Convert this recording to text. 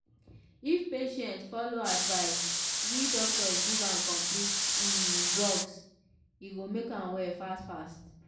if patients follow advise we doctor give am complete im drugs e go make am well fast fast.